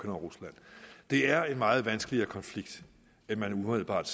og rusland det er en meget vanskeligere konflikt end man umiddelbart